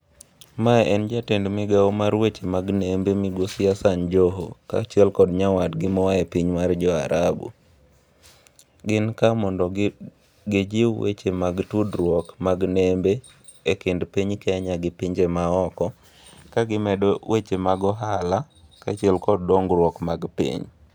Mae en jatend migao mar weche mag nembe migosi Hasan Joho, kaachiel ko nyawadgi moae piny mar jo arabu. Gin ka mondo gi gijiw weche mag tudruok mag nembe e kind piny Kenya gi pinje maoko. Ka gimedo weche mag ohala ka achiel kod dongruok mag piny.